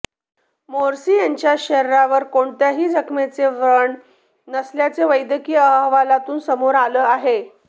Morse यांच्या शरीरावर कोणत्याही जखमेचे व्रण नसल्याचं वैद्यकीय अहवालातून समोर आलं आहे